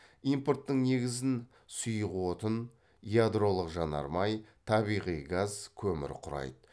импорттың негізін сұйық отын ядролық жанармай табиғи газ көмір құрайды